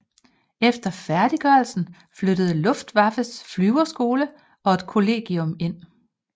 Efter færdiggørelsen flyttede Luftwaffes flyverskole og et kollegium ind